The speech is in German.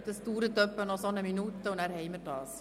Es dauert noch etwa eine Minute, dann sind wir soweit.